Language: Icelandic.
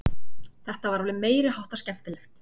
Þetta var alveg meiri háttar skemmtilegt!